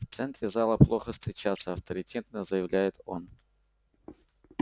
в центре зала плохо встречаться авторитетно заявляет он